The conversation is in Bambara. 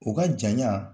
O ka janya